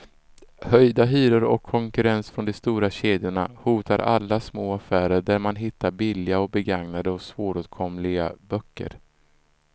Höjda hyror och konkurrens från de stora kedjorna hotar alla små affärer där man hittar billiga, begagnade och svåråtkomliga böcker.